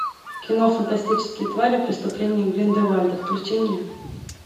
кино фантастические твари преступления грин де вальда включи мне